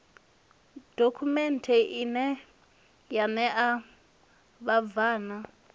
dokhumenthe ine ya ṋea vhabvann